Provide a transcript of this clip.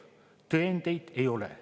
Tõendeid ei ole.